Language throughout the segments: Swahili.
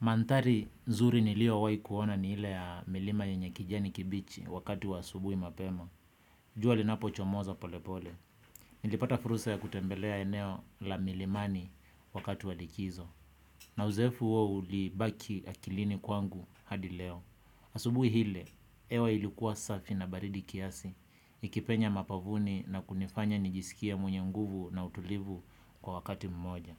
Mandhari nzuri niliowahi kuona ni ile ya milima yenye kijani kibichi wakati wa asubuhi mapema. Jua linapochomoza polepole. Nilipata fursa ya kutembelea eneo la milimani wakati wa likizo. Na uzoefu huo ulibaki akilini kwangu hadi leo. Asubuhi ile, hewa ilikuwa safi na baridi kiasi. Ikipenya mapavuni na kunifanya nijisikie mwenye nguvu na utulivu kwa wakati mmoja.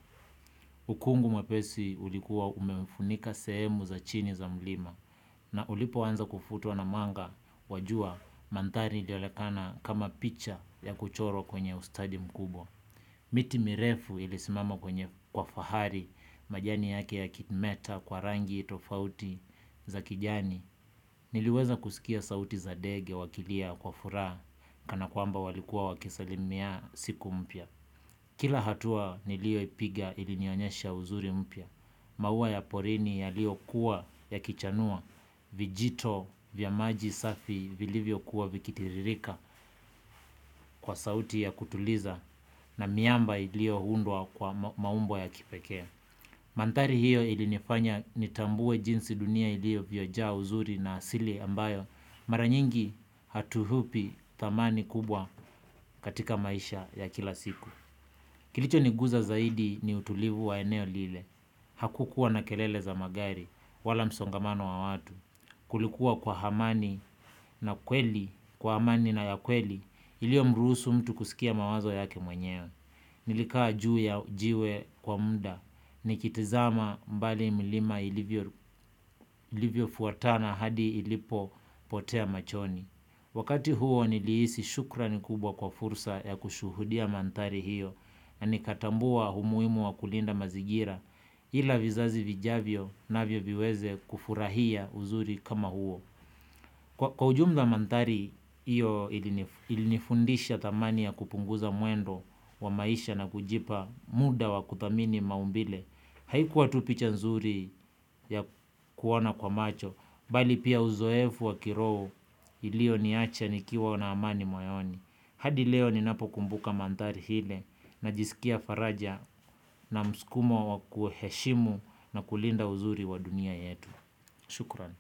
Ukungu mwepesi ulikuwa umefunika sehemu za chini za mlima na ulipoanza kufutwa na mwanga wa jua mandhari ilionekana kama picha ya kuchorwa kwenye ustadi mkubwa. Miti mirefu ilisimama kwenye kwa fahari majani yake yakimeta kwa rangi tofauti za kijani. Niliweza kusikia sauti za ndege wakilia kwa furaha kana kwamba walikuwa wakisalimia siku mpya. Kila hatua nilioipiga ilinionyesha uzuri mpya, maua ya porini yaliokuwa yakichanua, vijito vya maji safi vilivyokuwa vikitiririka kwa sauti ya kutuliza na miamba ilioundwa kwa maumbo ya kipekee. Mandhari hiyo ilinifanya nitambue jinsi dunia iliovyojaa uzuri na asili ambayo mara nyingi hatuupi thamani kubwa katika maisha ya kila siku. Kilichoniguza zaidi ni utulivu wa eneo lile. Hakukuwa na kelele za magari wala msongamano wa watu. Kulikuwa kwa amani na kweli, kwa amani na ya kweli iliomrusu mtu kusikia mawazo yake mwenyewe. Nilikaa juu ya jiwe kwa muda nikitizama mbali milima ilivyofuatana hadi ilipopotea machoni. Wakati huo niliisi shukrani kubwa kwa fursa ya kushuhudia mandhari hiyo na nikatambua umuhimu wa kulinda mazingira ila vizazi vijavyo navyo viweze kufurahia uzuri kama huo. Kwa ujumla mandhari hiyo ilinifundisha thamani ya kupunguza mwendo wa maisha na kujipa muda wa kuthamini maumbile. Haikuwa tu picha nzuri ya kuona kwa macho, bali pia uzoefu wa kiroho ilioniacha nikiwa na amani moyoni. Hadi leo ninapokumbuka mandhari ile najisikia faraja na msukumo wa kuheshimu na kulinda uzuri wa dunia yetu. Shukran.